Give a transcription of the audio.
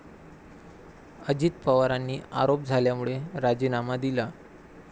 अजित पवारांनी आरोप झाल्यामुळे राजीनामा दिला.